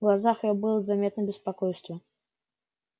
в глазах её было заметно беспокойство